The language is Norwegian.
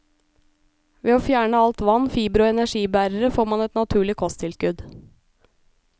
Ved å fjerne alt vann, fibre og energibærere, får man et naturlig kosttilskudd.